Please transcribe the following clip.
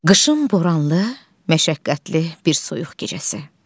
Qışın boranlı, məşəqqətli bir soyuq gecəsi.